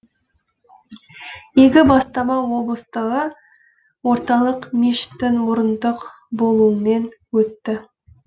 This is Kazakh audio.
игі бастама облыстағы орталық мешіттің мұрындық болуымен өтті